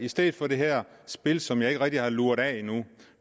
i stedet for det her spil som jeg ikke rigtig har luret af endnu